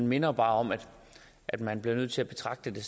minder bare om at at man bliver nødt til at betragte det